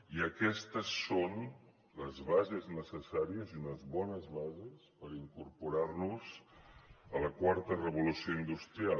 i aquestes són les bases necessàries i unes bones bases per incorporar nos a la quarta revolució industrial